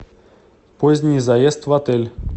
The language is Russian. поздний заезд в отель